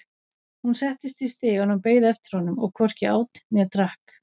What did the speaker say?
Hún settist í stigann og beið eftir honum,- og hvorki át né drakk.